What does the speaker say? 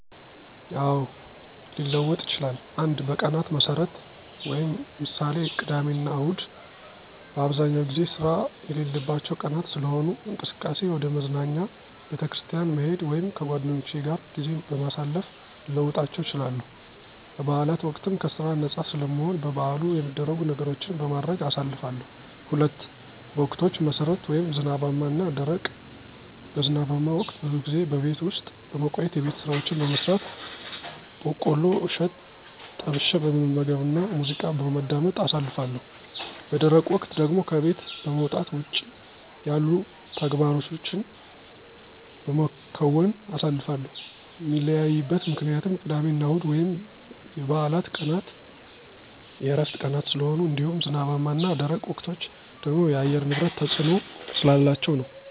አዎ፣ ሊለወጥ ይችላል። 1. በቀናት መሠረት ( ምሳሌ፦ ቅዳሜና እሁድ) በአብዛኛው ጊዜ ስራ የሌለባቸው ቀናት ስለሆኑ፣ እንቅስቃሴየ ወደ መዝናኛ፣ ቤተክርስቲያን መሄድ ወይም ከጓደኞቼ ጋር ጊዜ በማሳለፍ ልለውጣቸው እችላለሁ። በበዓላት ወቅትም ከስራ ነፃ ስለምሆን በበዓሉ ሚደረጉ ነገሮችን በማድረግ አሳልፋለሁ። 2. በወቅቶች መሠረት ( ዝናባማ እና ደረቅ ) በዝናባማ ወቅት ብዙ ጊዜ በቤት ውስጥ በመቆየት የቤት ስራዎችን በመስራት፣ በቆሎ እሸት ጠብሸ በመመገብና ሙዚቃ በማዳመጥ አሳልፋለሁ። _ በደረቅ ወቅት ደግሞ ከቤት በመውጣት ውጭ ላይ ያሉ ተግባሮቸን በመከወን አሳልፋለሁ። ሚለያይበት ምክንያትም ቅዳሜና እሁድ ወይም የበዓላት ቀናት የዕረፍት ቀናት ስለሆኑ እንዲሁም ዝናባማ እና ደረቅ ወቅቶች ደግሞ የአየር ንብረት ተፅዕኖ ስላላቸው ነዉ።